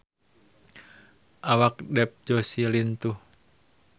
Awak Dev Joshi lintuh